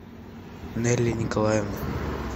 нелли николаевна